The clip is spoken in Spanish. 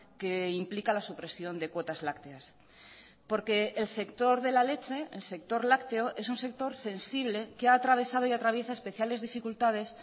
que implica la supresión de cuotas lácteas porque el sector de la leche el sector lácteo es un sector sensible que ha atravesado y atraviesa especiales dificultades